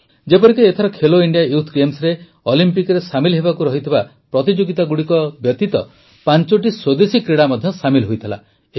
ଯେପରିକି ଏଥର Khelo India youth ଗେମ୍ସରେ ଅଲିମ୍ପିକରେ ସାମିଲ ହେବାକୁ ଥିବା ପ୍ରତିଯୋଗିତାଗୁଡ଼ିକ ବ୍ୟତୀତ ପାଂଚଟି ସ୍ୱଦେଶୀ କ୍ରୀଡ଼ା ମଧ୍ୟ ସାମିଲ୍ ହୋଇଥିଲା